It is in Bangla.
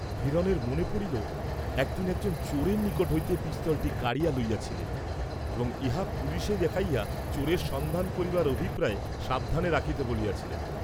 হিরণের মনে পড়িল, একদিন একজন চোরের নিকট হইতে পিস্তলটি কাড়িয়া লইয়াছিলেন; এবং ইহা পুলিশে দেখাইয়া চোরের সন্ধান করিবার অভিপ্রায়ে সাবধানে রাখিতে বলিয়াছিলেন।